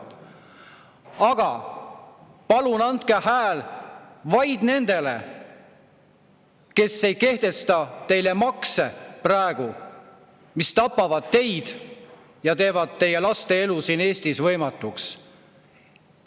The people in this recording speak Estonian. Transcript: Aga palun andke hääl vaid nendele, kes ei kehtesta teile praegu makse, mis tapavad teid ja teevad teie laste elu siin Eestis võimatuks.